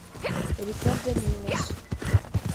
рикардо милос